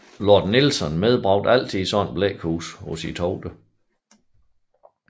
Lord Nelson medbragte altid et sådant blækhus på sine togter